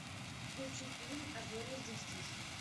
включи фильм а зори здесь тихие